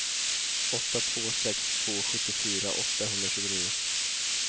åtta två sex två sjuttiofyra åttahundratjugonio